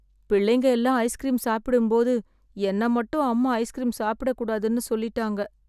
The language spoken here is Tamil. பிள்ளைங்க எல்லாம் ஐஸ்கிரீம் சாப்பிடும் போது என்ன மட்டும் அம்மா ஐஸ்கிரீம் சாப்பிடக்கூடாதுன்னு சொல்லிட்டாங்க